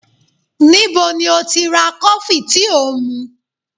Níbo ni ó ti ra kọfí tí ò ń mu?